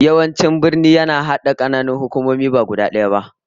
Yawanci birni yakan hada kananan hukumomi ba guda daya ba